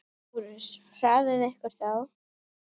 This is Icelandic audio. LÁRUS: Hraðið ykkur þá!